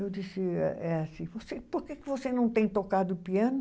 Eu disse, eh eh assim, você por que que você não tem tocado piano?